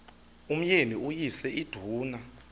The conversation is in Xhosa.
umyeni uyise iduna